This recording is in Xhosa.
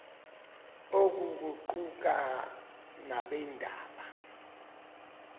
oku kuquka nabeendaba